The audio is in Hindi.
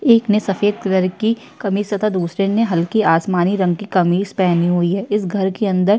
एक ने सफ़ेद कलर की कमीज तथा दूसरे ने हल्की आसमानी रंग की कमीज पहनी हुई है। इस घर के अंदर --